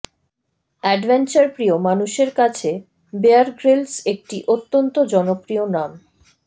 adventure প্রিয় মানুষের কাছে বেয়ার গ্রিলস একটি অত্যন্ত জনপ্রিয় নাম